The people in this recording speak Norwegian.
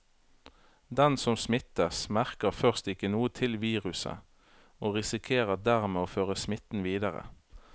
Den som smittes, merker først ikke noe til viruset og risikerer dermed å føre smitten videre.